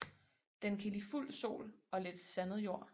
Den kan lide fuld sol og lidt sandet jord